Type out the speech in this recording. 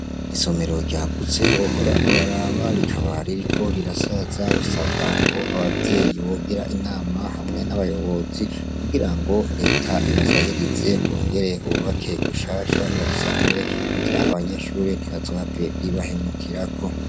Isomero ryagutse wohor' uraraba rikaba ririko rirasaza bisabwa k' abavyeyi bogir' inama hamwe n' abayobozi, kugirango Let' ibasahirize bongere bubake gushasha, barisanure kugir' abanyeshure ntibazohave ribahenukirako